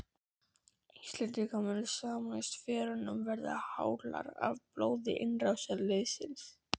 Íslendingar munu sameinast og fjörurnar verða hálar af blóði innrásarliðsins.